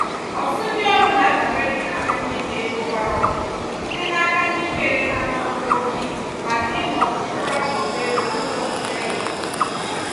ọtụtụ ndị ọrụ na-adabere n'inata nnyefe ego gbàrà ọkpụrụkpụ site n'aka ndị weere ha n'ọrụ ojii hazie maọbu chukwara ọkpụrụkpụ ego n'ụzọ kwesiri ekwesi.